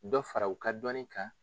Dɔ fara u ka dɔnni kan.